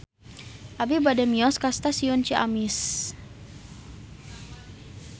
Abi bade mios ka Stasiun Ciamis